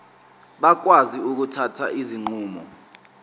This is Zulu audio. bakwazi ukuthatha izinqumo